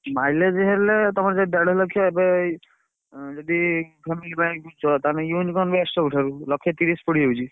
Mileage ହେଲେ ତମର ସେଇ ଦେଢ ଲକ୍ଷ ଏବେ ଏଇ ଉଁ ଯଦି family ପାଇଁ କିଣୁଚ ତାହେଲେ best ସବୁଠାରୁ ଲକ୍ଷେ ତିରିଶି ପଡି ଯାଉଛି।